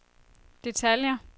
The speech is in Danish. detaljer